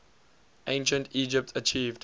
ancient egypt achieved